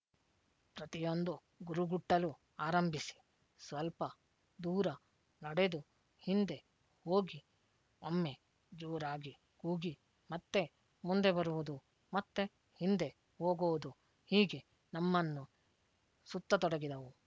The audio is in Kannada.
ಪ್ರತಿಯೊಂದೂ ಗುರುಗುಟ್ಟಲು ಆರಂಭಿಸಿ ಸ್ವಲ್ಪ ದೂರ ನಡೆದು ಹಿಂದೆ ಹೋಗಿ ಒಮ್ಮೆ ಜೋರಾಗಿ ಕೂಗಿ ಮತ್ತೆ ಮುಂದೆ ಬರುವುದೂ ಮತ್ತೆ ಹಿಂದೆ ಹೋಗುವುದು ಹೀಗೆ ನಮ್ಮನ್ನು ಸುತ್ತತೊಡಗಿದವು